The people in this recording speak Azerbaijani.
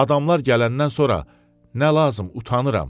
Adamlar gələndən sonra nə lazım, utanıram.